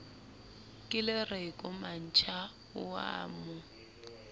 kelereko mantsha o a mo